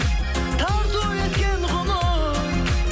тарту еткен ғұмыр